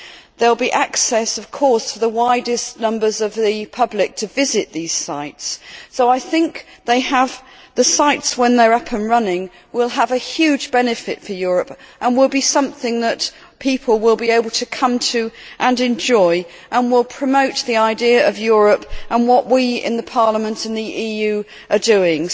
and there will be access, of course, for the widest numbers of the public to visit these sites. So I think the sites, when they are up and running, will have a huge benefit for Europe and will be something that people will be able to come to and enjoy, and will promote the idea of Europe and what we in Parliament and the EU are doing.